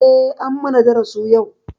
Eh an mana darasu yau.